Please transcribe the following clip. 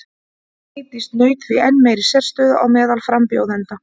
Vigdís naut því enn meiri sérstöðu á meðal frambjóðenda.